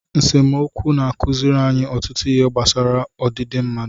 Nsemokwu na-akụzi anyị ọtụtụ ihe gbasara ọdịdị mmadụ.